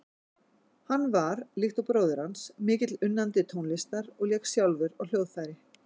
Hann var, líkt og bróðir hans, mikill unnandi tónlistar og lék sjálfur á hljóðfæri.